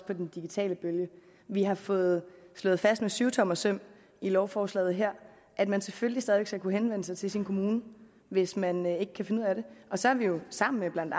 på den digitale bølge vi har fået slået fast med syvtommersøm i lovforslaget her at man selvfølgelig stadig væk skal kunne henvende sig til sin kommune hvis man ikke kan finde ud af det og så har vi jo sammen med blandt